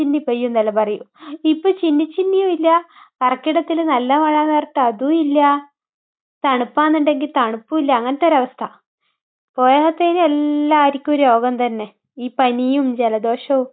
പെയ്യുമെന്നല്ലേ പറയാ? ഇപ്പൊ ചിന്നി ചിന്നിയുമില്ല കർക്കിടകത്തിന് നല്ല മഴയെന്ന് പറഞ്ഞിട്ട് അതുമില്ല. തണുപ്പാണെന്നുണ്ടെങ്കിൽ തണുപ്പുമില്ല. അങ്ങനതൊരവസ്ഥ. പോരാത്തതിന് എല്ലാവർക്കും രോഗം തന്നെ. ഈ പനിയും ജലദോഷവും.